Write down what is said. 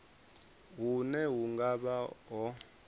hune hu nga vha ho